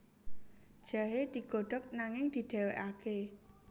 Jahe digodhog nanging didhéwékaké